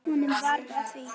Honum varð að því.